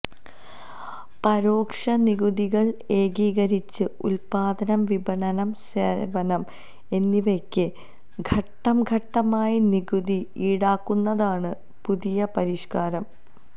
പരോക്ഷ നികുതികള് ഏകീകരിച്ച് ഉത്പാദനം വിപണനം സേവനം എന്നിവയ്ക്ക് ഘട്ടംഘട്ടമായി നികുതി ഈടാക്കുന്നതാണ് പുതിയ പരിഷ്കാരം